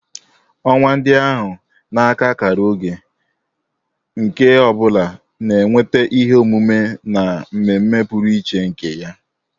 Ọnwa ndị ahụ na-aka akara oge, nke ọ bụla na-eweta ihe omume na mmemme pụrụ iche nke ya